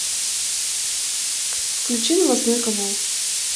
включи новостной канал